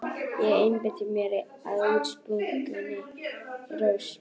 Ég einbeiti mér að útsprunginni rós.